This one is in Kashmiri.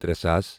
ترے ساس